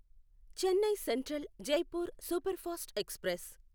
Chennai central Jaipur superfast express